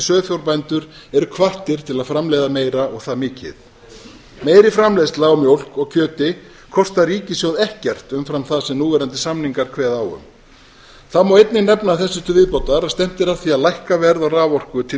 sauðfjárbændur eru hvattir til að framleiða meira og það mikið meiri framleiðsla á mjólk og kjöti kostar ríkissjóð ekkert umfram það sem núverandi samningar kveða á um það má einnig nefna þessu til viðbótar að stefnt er að því að lækka verð á raforku til